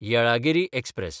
Yelagiri express